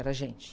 Era gente.